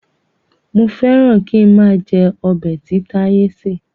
Mo féràn kín máa jẹ ọbẹ̀ tí táyé ṣé.